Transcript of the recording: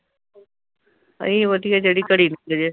ਇਹ ਹੀ ਵਧੀਆ ਜਿਹੜੀ ਘੜੀ ਬੀਤ ਜੇ।